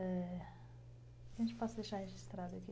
É... posso deixar registrado